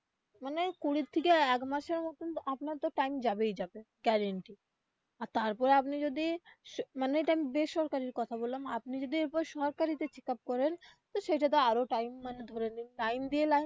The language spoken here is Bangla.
মানে কুড়ির থেকে একমাসের মতন আপনার তো time যাবেই যাবে guarantee আর তারপরে আপনি যদি মানে আমি এটা বেসরকারির কথা বললাম আপনি যদি এরপর সরকারি তে check up করেন তো সেইটা তো আরো time মানে ধরে নিন line দিয়ে line